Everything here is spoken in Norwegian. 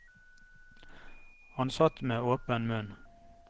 Han satt med åpen munn.